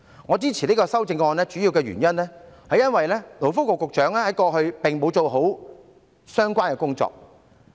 我支持這項修正案的主要原因，是勞工及福利局局長過去並沒有做好相關工作。